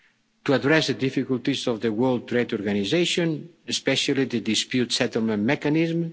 to address the difficulties of the World Trade Organization, especially the dispute settlement mechanism